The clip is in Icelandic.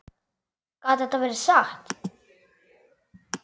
Gat þetta verið satt?